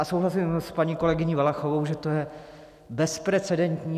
A souhlasím s paní kolegyní Valachovou, že to je bezprecedentní.